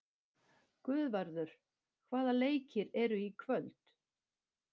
Guðvarður, hvaða leikir eru í kvöld?